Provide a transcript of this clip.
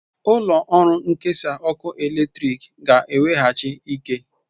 Ụlọ ọrụ nkesa ọkụ eletrik ga-eweghachi ike.